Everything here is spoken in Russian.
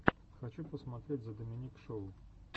хочу посмотреть зе доминик шоу